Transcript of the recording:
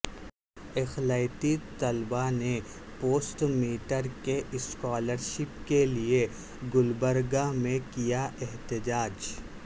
اقلیتی طلبا نے پوسٹ میٹرک اسکالر شپ کے لئے گلبرگہ میں کیا احتجاج